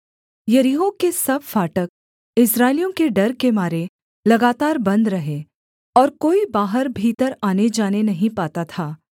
यरीहो के सब फाटक इस्राएलियों के डर के मारे लगातार बन्द रहे और कोई बाहर भीतर आनेजाने नहीं पाता था